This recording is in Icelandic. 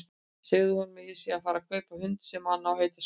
Segðu honum að ég sé að fara að kaupa hund sem á að heita Skundi!